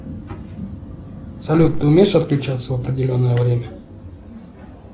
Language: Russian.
салют ты умеешь отключаться в определенное время